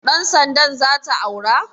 Ɗan sanda zata aura?